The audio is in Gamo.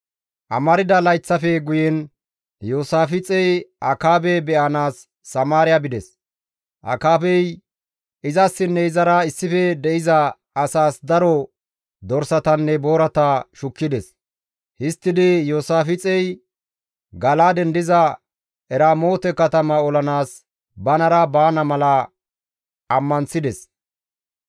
Amarda layththafe guyen Iyoosaafixey Akaabe be7anaas Samaariya bides. Akaabey izassinne izara issife de7iza asaas daro dorsatanne boorata shukkides; histtidi Iyoosaafixey Gala7aaden diza Eramoote katama olanaas banara baana mala ammanththides.